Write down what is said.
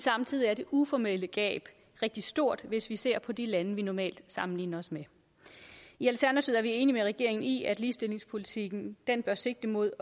samtidig er det uformelle gab rigtig stort hvis vi ser på de lande vi normalt sammenligner os med i alternativet er vi enige med regeringen i at ligestillingspolitikken bør sigte mod